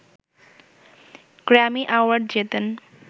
Grammy award জেতেন